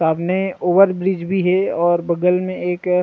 सामने ओवरब्रिज भी हे और बगल मे एक--